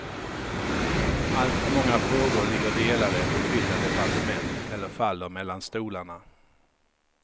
Alltför många frågor ligger delade på skilda departement eller faller mellan stolarna.